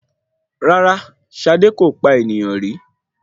Rárá, Ṣadé kò pa ènìyàn rí.